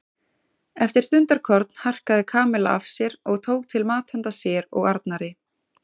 Eftir stundarkorn harkaði Kamilla af sér og tók til mat handa sér og Arnari.